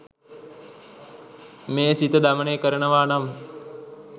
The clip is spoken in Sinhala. මේ සිත දමනය කරනවා නම්